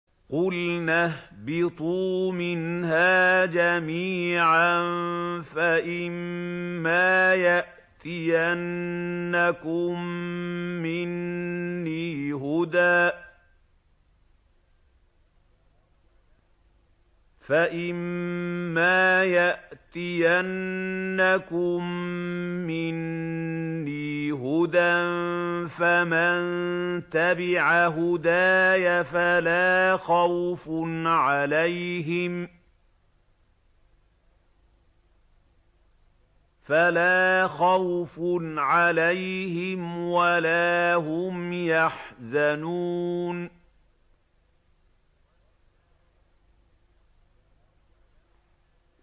قُلْنَا اهْبِطُوا مِنْهَا جَمِيعًا ۖ فَإِمَّا يَأْتِيَنَّكُم مِّنِّي هُدًى فَمَن تَبِعَ هُدَايَ فَلَا خَوْفٌ عَلَيْهِمْ وَلَا هُمْ يَحْزَنُونَ